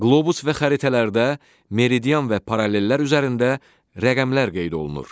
Qlobus və xəritələrdə meridian və parallellər üzərində rəqəmlər qeyd olunur.